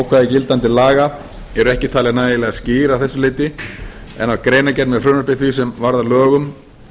ákvæði gildandi laga eru ekki talin nægilega skýr að þessu leyti en í greinargerð með frumvarpi því sem varð að lögum